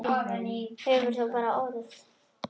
Þú hefur bara orð.